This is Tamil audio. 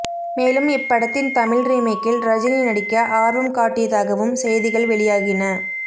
மேலும் இப்படத்தின் தமிழ் ரீமேக்கில் ரஜினி நடிக்க ஆர்வம் காட்டியதாகவும் செய்திகள் வெளியாகின